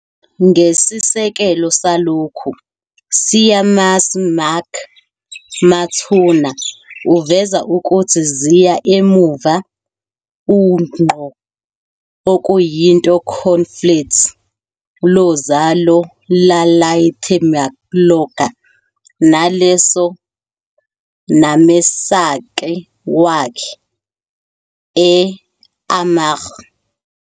ngesisekelo salokhu, Séamus Mac Mathúna uveza ukuthi ziya emuva ungqo okuyinto conflates lozalo Iarlaithe mac Loga naleso namesake wakhe e Armagh.